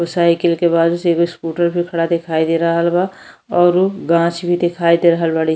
Cycle की बाद से एगो स्कूटर भी खड़ा दिखाई दे रहल बा औरु गाक्ष भी दिखाई दे रहल बाड़ी।